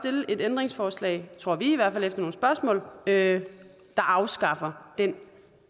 et ændringsforslag tror vi i hvert fald efter nogle spørgsmål der afskaffer den